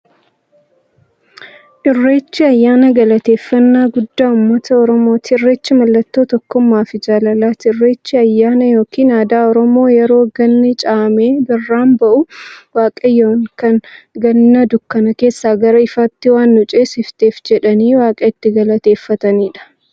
Irreechi ayyaana galateeffnnaa guddaa ummata oromooti. Irreechi mallattoo tokkummaafi jaalalaati. Irreechi ayyaana yookiin aadaa Oromoo yeroo ganni caamee birraan bari'u, waaqayyoon kan Ganna dukkana keessaa gara ifaatti waan nu ceesifteef jedhanii waaqa itti galateeffataniidha.